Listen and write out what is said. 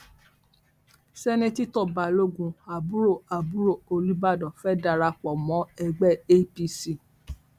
sèǹtẹtò balógun àbúrò àbúrò olùbàdàn fẹẹ dara pọ mọ ẹgbẹ apc